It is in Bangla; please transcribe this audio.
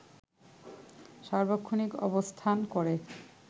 সার্বক্ষণিক অবস্থান করে